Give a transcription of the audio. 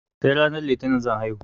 Sai ranar litinin zan haihu